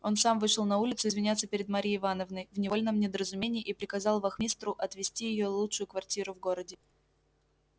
он сам вышел на улицу извиняться перед марьей ивановной в невольном недоразумении и приказал вахмистру отвести её лучшую квартиру в городе